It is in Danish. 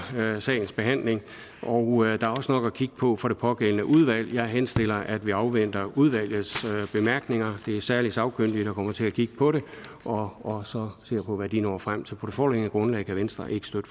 sagens behandling og der er også nok at kigge på for det pågældende udvalg jeg henstiller at vi afventer udvalgets bemærkninger det er særligt sagkyndige der kommer til at kigge på det og ser på hvad de når frem til på det foreliggende grundlag kan venstre ikke støtte